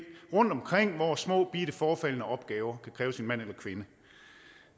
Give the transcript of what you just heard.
rundtomkring hvor småbitte forefaldende opgaver kan kræve sin mand eller kvinde